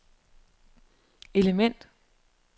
element